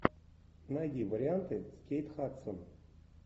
найди варианты с кейт хадсон